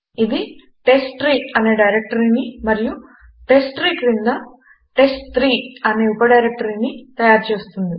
ఇది టెస్ట్ట్రీ అనే డైరెక్టరీని మరియు టెస్ట్ట్రీ క్రింద టెస్ట్3 అనే ఉప డైరెక్టరీని తయారు చేస్తుంది